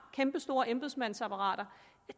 kæmpestort embedsmandsapparatet